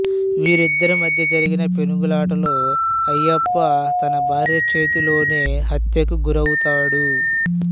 వీరిద్దరి మధ్య జరిగిన పెనుగులాటలో అయ్యప్ప తన భార్య చేతిలోనే హత్యకు గురవుతాడు